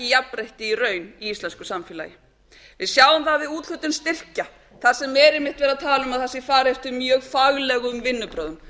jafnrétti í raun í íslensku samfélagi við sjáum það við úthlutun styrkja þar sem er einmitt verið að tala um að það sé farið eftir mjög faglegum vinnubrögðum